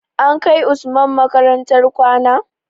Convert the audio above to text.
An kai usman makarantar kwana?